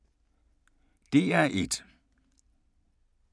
DR1